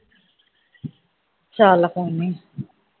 ਚਲ ਕੋਈ ਨਹੀਂ